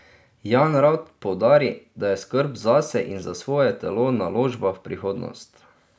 Jan rad poudari, da je skrb zase in za svoje telo naložba v prihodnost.